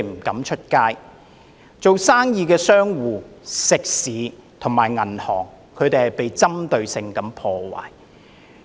經營生意的商戶、食肆及銀行遭到針對性破壞。